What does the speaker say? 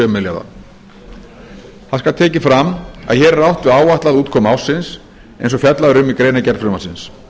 milljarða það skal tekið fram að hér er átt við áætlaða útkomu ársins eins og fjallað er um í greinargerð frumvarpsins